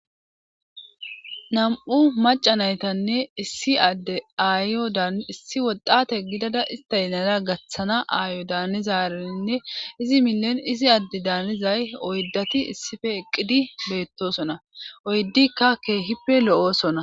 Nam'u macanaytanne issi adde aayodissi woxate gidada istaynana gaththana aayo daanizarenne izi milon izi adde daanizay oydati issife eqqidi beettosona oyddikka keehippe lo7osona